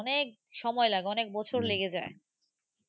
অনেক সময় লাগে। অনেক বছর লেগে যায়।